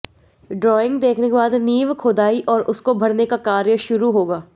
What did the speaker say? drawing देखने के बाद नींव खोदाई और उसको भरने का कार्य शुरू होगा